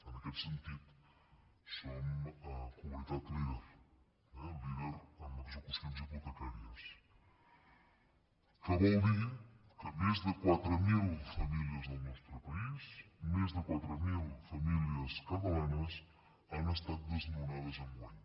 en aquest sentit som comunitat líder eh líder en execucions hipotecàries que vol dir que més de quatre mil famílies del nostre país més de quatre mil famílies catalanes han estat desnonades enguany